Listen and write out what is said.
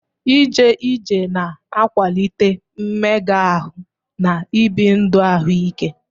Ije ije na-akwalite mmega ahụ na ibi ndụ ahụike.